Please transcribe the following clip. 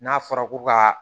N'a fɔra ko ka